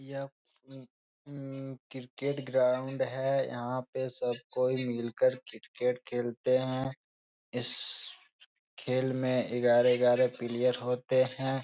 यह cricket ground है। यहाँ पे सब कोई मिल कर क्रिकेट खेलते हैं। इस खेल में इगारह-इगारह पीलीयर होते हैं ।